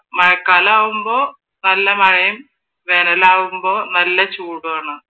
മഴക്കാലാവുമ്പോ നല്ല മഴയും വേനലാവുമ്പോ നല്ല ചൂടുമാണ്.